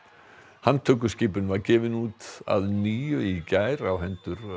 handtökuskipun var gefin út að nýju í gær á hendur